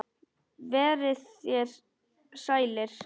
Verið þér sælir.